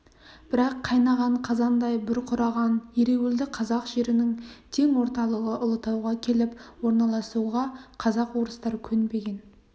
бірақ қайнаған қазандай бұрқыраған ереуілді қазақ жерінің тең орталығы ұлытауға келіп орналасуға казак-орыстар көнбеген